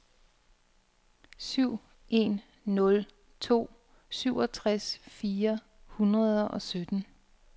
syv en nul to syvogtres fire hundrede og sytten